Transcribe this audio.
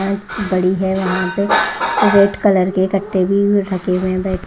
बड़ी है वहां पे रेड कलर के कट्टे भी ढके हुए--